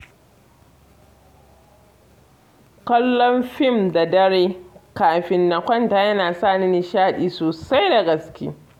Kallon fim da dare kafin na kwanta yana sa ni nishadi sosai da gaske.